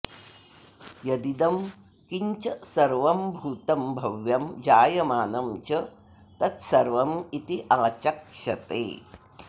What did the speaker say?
यदिदं किञ्च सर्वं भूतं भव्यं जायमानं च तत्सर्वमित्याचक्षते